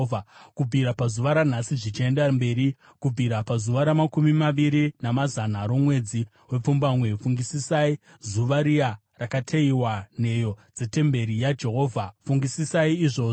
Kubvira pazuva ranhasi zvichienda mberi, kubvira pazuva ramakumi maviri namana romwedzi wepfumbamwe, fungisisai zuva riya rakateyiwa nheyo dzetemberi yaJehovha. Fungisisai izvozvo: